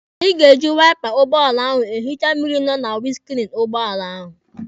Anyị ga-eji waipa ụgbọala ahụ ehicha mmịrị nọ na winiskriini ụgbọala ahụ.